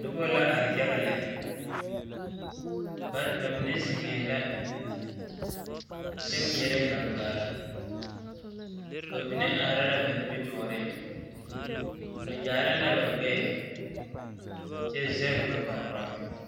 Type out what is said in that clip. Noba la are yaga lɛ ba mine zeŋɛɛ la kyɛ ŋmeɛrɛ gaŋgare ba mine arɛɛ ba nimitɔɔreŋ ba yaare la ba gbɛɛ kyɛ zɛge ba kpaŋkpama.